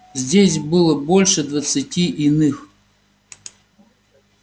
здесь было больше двадцати иных